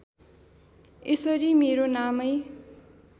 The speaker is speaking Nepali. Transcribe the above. यसरी मेरो नामै